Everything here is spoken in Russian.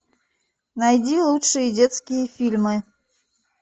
найди лучшие детские фильмы